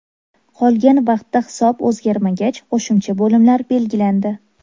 Qolgan vaqtda hisob o‘zgarmagach, qo‘shimcha bo‘limlar belgilandi.